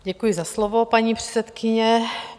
Děkuji za slovo, paní předsedkyně.